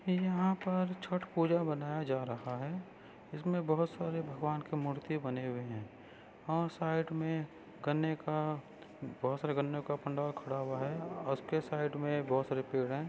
यहा पर छट पुजा मनाया जा रहा है। इसमे बहोत सारे भागवान की मूर्ति बने हुए है और साइड मे गन्ने का बहोत सारे गन्नो का पंडाल खड़ा हुआ है। उसके साइड मे बहुत सारे पेड़ है।